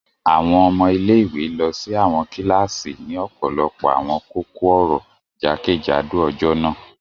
Àwọn ọmọ ile-iwe lọ si àwọn kilasi ni ọpọlọpọ awọn kókó-ọ̀rọ̀ jakejado ọjọ naa.